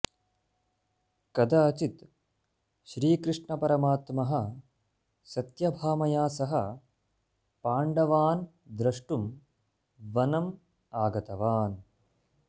कदाचित् श्रीकृष्णपरमात्मः सत्यभामया सह पाण्डवान द्रष्टुं बनम् आगतवान